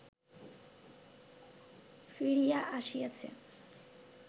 ফিরিয়া আসিয়াছে